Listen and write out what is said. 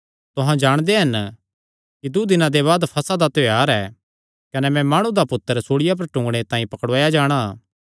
तुहां जाणदे हन कि दूँ दिनां दे बाद फसह दा त्योहार ऐ कने मैं माणु दा पुत्तर सूल़िया पर टूंगणे तांई पकड़ुआया जाणा